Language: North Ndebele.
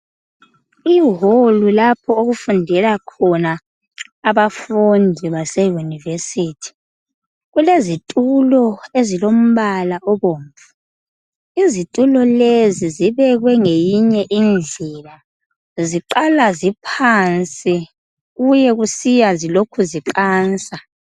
Ihall lapho okufundela khona abafundi baseyunivesithi. Kulezitulo ezilombala obomvu. Izitulo lezi zibekwe ngeyinye indlela. Ziqala ziphansi kuye kusiya zilokhu ziqansa.